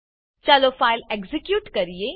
ચાલો file execute કરીએ